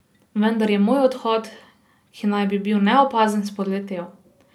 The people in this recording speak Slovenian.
Vendar je moj odhod, ki naj bi bil neopazen, spodletel.